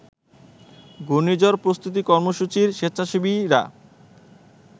ঘূর্ণিঝড় প্রস্তুতি কর্মসূচির স্বেচ্ছাসেবীরা